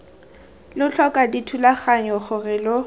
lo tlhoka dithulaganyo gore lo